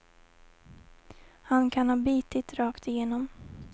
Han kan ha bitit rakt igenom.